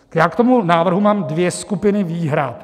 Já k tomu návrhu mám dvě skupiny výhrad.